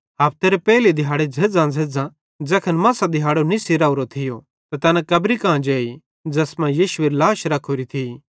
हफ्तेरे पेइले दिहाड़े झ़ेज़्झ़ांझ़ेज़्झ़ां ज़ैखन मसां दिहाड़ो निस्सी राओरो थियो त तैना कब्री कां जेई ज़ैस मां यीशुएरी लाश रखोरी थी